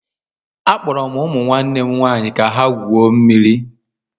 Akpọrọ m ụmụ nwanne m nwaanyị ka ha gwuo mmiri